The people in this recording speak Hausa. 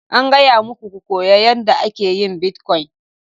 An gaya muku ku koyi yadda ake yin bitcoin!